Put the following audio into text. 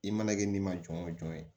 I mana kɛ n'i ma jɔn jɔn ye